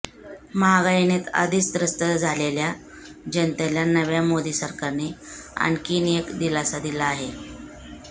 महागाईने आधीच त्रस्त झालेल्या जनतेला नव्या मोदी सरकारने आणखी एक दिलासा दिला आहे